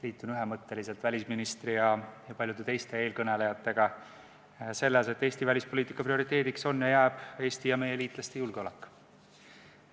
Liitun ühemõtteliselt välisministri ja paljude teiste eelkõnelejatega selles, et Eesti välispoliitika prioriteediks on ja jääb Eesti ja meie liitlaste julgeolek.